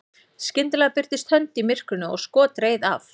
skyndilega birtist hönd í myrkrinu og skot reið af